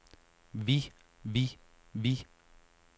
vi vi vi